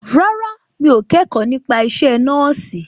Rárá, mi ò kẹ́kọ̀ọ́ nípa isẹ́ nọ́ọ̀sì